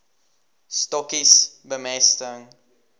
stokkies bemesting